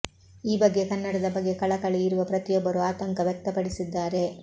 ಈ ಬಗ್ಗೆ ಕನ್ನಡದ ಬಗ್ಗೆ ಕಳಕಳಿ ಇರುವ ಪ್ರತಿಯೊಬ್ಬರೂ ಆತಂಕ ವ್ಯಕ್ತಪಡಿಸಿದ್ದಾರೆ